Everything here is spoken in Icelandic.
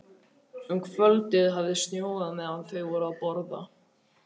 Um kvöldið hafði snjóað meðan þau voru að borða.